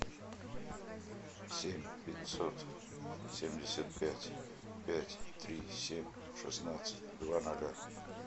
семь пятьсот семьдесят пять пять три семь шестнадцать два ноля